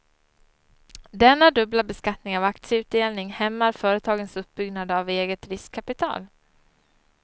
Denna dubbla beskattning av aktieutdelning hämmar företagens uppbyggnad av eget riskkapital.